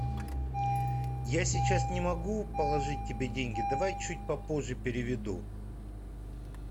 я сейчас не могу положить тебе деньги давай чуть попозже переведу